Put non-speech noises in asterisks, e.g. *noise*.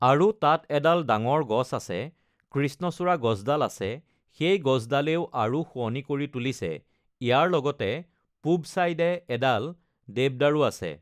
*noise* আৰু তাত এডাল ডাঙৰ গছ আছে কৃষ্ণচূড়া গছডাল আছে সেই গছডালেও আৰু শুৱনি কৰি তুলিছে ইয়াৰ লগতে পূৱ চাইডে এডাল দেৱদাৰু আছে